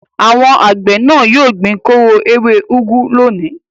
Àwọn àgbẹ̀ náà yóò gbin kóró ewé úgú lónìí.